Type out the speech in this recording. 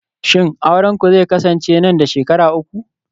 shin aurenku zai kasance nan da shekaru uku